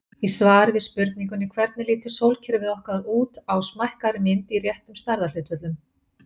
Í svari við spurningunni Hvernig lítur sólkerfið okkar út á smækkaðri mynd í réttum stærðarhlutföllum?